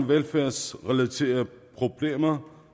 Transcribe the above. velfærdsrelaterede problemer